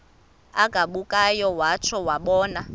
agabukayo watsho wabona